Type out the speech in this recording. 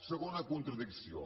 segona contradicció